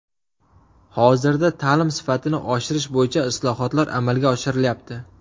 Hozirda ta’lim sifatini oshirish bo‘yicha islohotlar amalga oshirilyapti.